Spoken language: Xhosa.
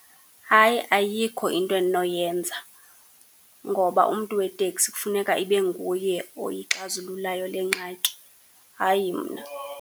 Hayi ayikho into endinoyenza, ngoba umntu weteksi kufuneka ibe nguye oyixazululayo le ngxaki, hayi mna.